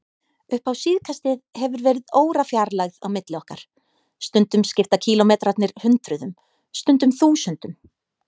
Upp á síðkastið hefur verið órafjarlægð á milli okkar, stundum skipta kílómetrarnir hundruðum, stundum þúsundum.